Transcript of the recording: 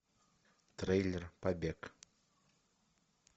трейлер побег